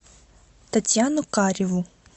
татьяну кареву